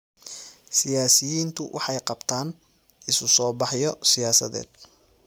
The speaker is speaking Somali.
Siyaasiyiintu waxay qabtaan isu soo baxyo siyaasadeed.